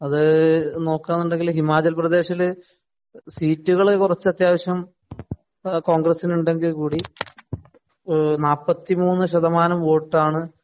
അത് നോക്കുക എന്നുണ്ടെങ്കില്‍ ഹിമാചല്‍ പ്രദേശില് സീറ്റുകള്‍ കുറച്ചു അത്യാവശ്യം കോണ്‍ഗ്രസിന് ഉണ്ടെങ്കില്‍ കൂടി നാല്പത്തി മൂന്നു ശതമാനം വോട്ടാണ്